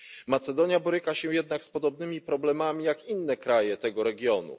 Macedonia boryka się jednak z podobnymi problemami jak inne kraje tego regionu.